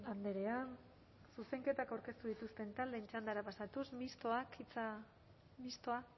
andrea zuzenketak aurkeztu dituzten taldeen txandara pasatuz mistoak